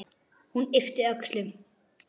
Hún yppti öxlum.